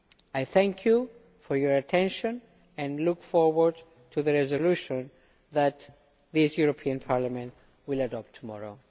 I thank you for your attention and look forward to the resolution that the European Parliament will adopt tomorrow.